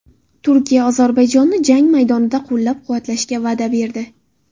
Turkiya Ozarbayjonni jang maydonida qo‘llab-quvvatlashga va’da berdi.